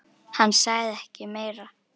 Hann sagði ekki meira.